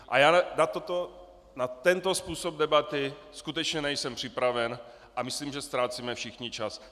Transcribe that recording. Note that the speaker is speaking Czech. A já na tento způsob debaty skutečně nejsem připraven a myslím, že ztrácíme všichni čas.